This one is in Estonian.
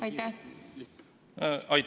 Aitäh!